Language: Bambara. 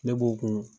Ne b'o kun